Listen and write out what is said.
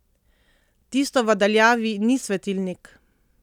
Tisto v daljavi ni svetilnik!